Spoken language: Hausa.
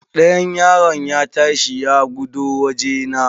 Ɗayan yaron ya ta shi ya gudo wajena.